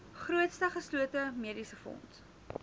grootste geslote mediesefonds